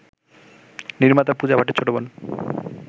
নির্মাতা পূজা ভাটের ছোটবোন